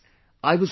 Friends,